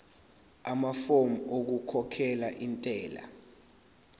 amafomu okukhokhela intela